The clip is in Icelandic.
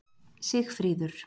Sigfríður